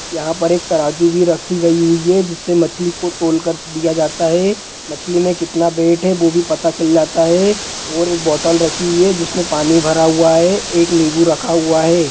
यहाँ पर एक तराजू भी रखी गई हुई है जिससे मछली को तौलकर दिया जाता है| मछली में कितना वेट है वो भी पता चल जाता है| और एक बोतल रखी हुई है जिसमें पानी भरा हुआ है| एक नींबू रखा हुआ है।